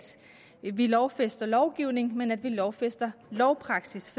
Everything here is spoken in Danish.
vi lovfæster lovgivning men at vi lovfæster lovpraksis